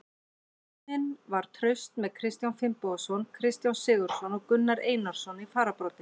Vörnin var traust með Kristján Finnbogason, Kristján Sigurðsson og Gunnar Einarsson í fararbroddi.